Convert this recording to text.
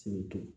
Sibiri